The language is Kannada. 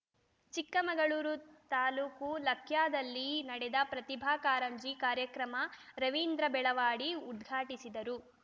ಚಿಕ್ಕಮಗಳೂರು ತಾಲೂಕು ಲಕ್ಯಾದಲ್ಲಿ ನಡೆದ ಪ್ರತಿಭಾ ಕಾರಂಜಿ ಕಾರ್ಯಕ್ರಮ ರವೀಂದ್ರ ಬೆಳವಾಡಿ ಉದ್ಘಾಟಿಸಿದರು